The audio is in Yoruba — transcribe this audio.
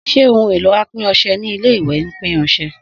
Sé ohun èlò apin ọsẹ ilé ìwè ń pin ọsẹ?